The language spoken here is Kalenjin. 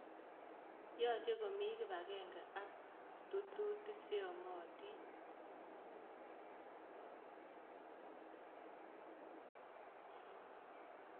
Yoche komii kipagenge ak tututik cheyomotin